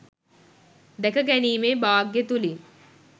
දැකගැනීමේ භාග්‍යය තුළින්